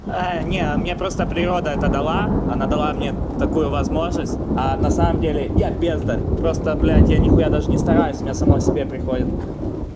а не у меня просто природа это дала она дала мне такую возможность а на самом деле я бездарь просто блять я нихуя даже не стараюсь мне само себе приходит